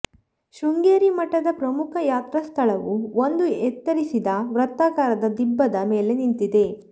ಶೃಂಗೇರಿ ಮಠದ ಪ್ರಮುಖ ಯತ್ರಾಸ್ಥಾಳವು ಒಂದು ಎತ್ತರಿಸಿದ ವೃತ್ತಾಕಾರದ ದಿಬ್ಬದ ಮೇಲೆ ನಿಂತಿದೆ